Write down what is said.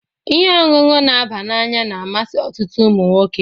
Ihe ọṅụṅụ n'aba n'anya na-amasị ọtụtụ umụnwoke